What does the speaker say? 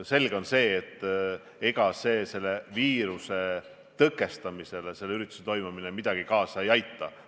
Selge on, et selle viiruse tõkestamisele selle ürituse toimumine kaasa ei aita.